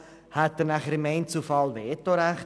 Hätte er beispielsweise im Einzelfall ein Vetorecht?